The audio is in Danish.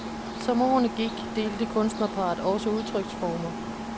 Som årene gik, delte kunstnerparret også udtryksformer.